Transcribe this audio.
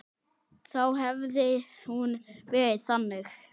Þá hefði hún verið þannig